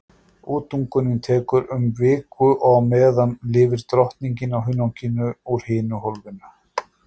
Útungunin tekur um viku og á meðan lifir drottningin á hunanginu úr hinu hólfinu.